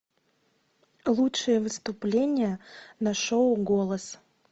лучшее выступление на шоу голос